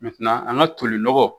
an ka toli nɔgɔ